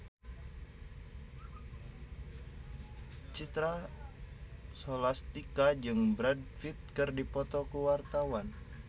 Citra Scholastika jeung Brad Pitt keur dipoto ku wartawan